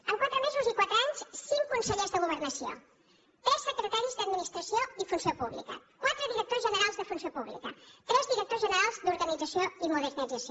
en quatre mesos i quatre anys cinc consellers de governació tres secretaris d’administració i funció pública quatre directors generals de funció pública tres directors generals d’organització i modernització